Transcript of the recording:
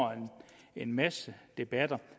en masse debatter